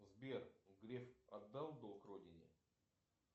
сбер греф отдал долг родине